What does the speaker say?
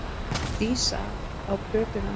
Dísa á plötuna.